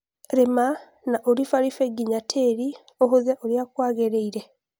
rĩma na ũrifalife nginya tĩri ũhũthe ũria kwagĩrĩile